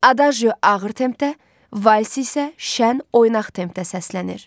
Adaje ağır tempdə, Vals isə şən oynaq tempdə səslənir.